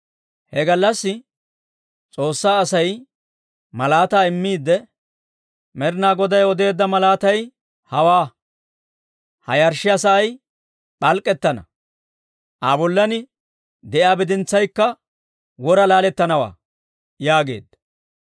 He gallassi S'oossaa Asay malaataa immiidde, «Med'inaa Goday odeedda malaatay hawaa; ha yarshshiyaa sa'ay p'alk'k'ettana; Aa bollan de'iyaa bidintsaykka wora laalettanawaa» yaageedda.